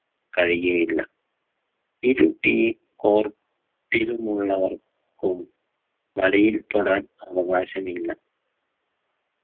കഴിയുകയില്ല ഇരു team or team ലുള്ളവർകോ വരയിൽ തൊടാൻ അവകാശമില്ല